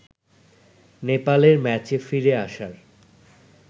নেপালের ম্যাচে ফিরে আসার